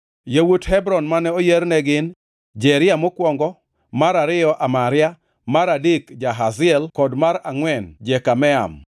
Yawuot Hebron mane oyier ne gin: Jeria mokwongo, mar ariyo Amaria, mar adek Jahaziel kod mar angʼwen Jekameam.